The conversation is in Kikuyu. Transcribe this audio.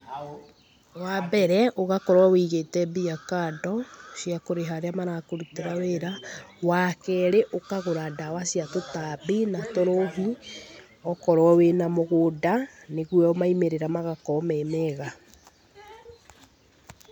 Wa mbere, ũgakorwo wũigĩte mbia kando, cia kũrĩha arĩa marakũrutĩra wĩra. Wa keerĩ, ũkagũra ndawa cia tũtambi na tũrũgi, okorwo wĩna mũgũnda, nĩguo maimĩrĩra magakoo me mega.